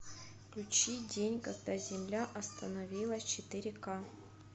включи день когда земля остановилась четыре ка